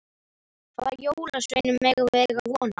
Hvaða jólasveinum megum við eiga von á?